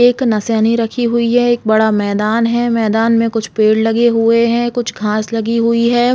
एक नसेनी रखी हुई है एक बड़ा मैदान है मैदान में कुछ पेड़ लगे हुए है कुछ घास लगी हुई है।